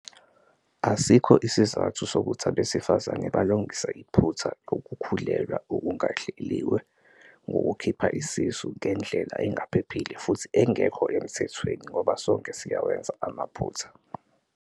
Asikho isizathu sokuthi abesifazane balungise iphutha lokukhulelwa okungahlelelwe ngokukhipha isisu ngendlela engaphephile futhi engekho emthethweni ngoba sonke siyawenza amaphutha.